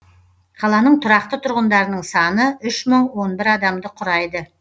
қаланың тұрақты тұрғындарының саны үш мың он бір адамды құрайды